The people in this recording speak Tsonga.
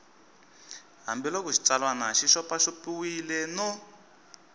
hambiloko xitsalwana xi xopaxopiwile no